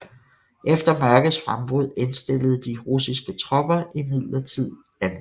Efter mørkets frembrud indstillede de russiske tropper imidlertid angrebene